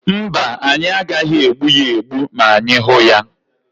Mba, anyị agaghị egbu ya egbu ma anyị hụ ya,.